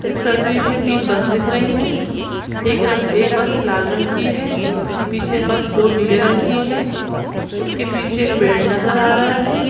इस तस्वीर में तीन बस दिख री है एक रंग एक बस लाल रंग की है पीछे बस दो नीले रंग की है उसके पीछे पेड़ नज़र आ रहा है।